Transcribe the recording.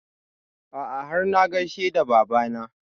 A'a har na gaishe da baba na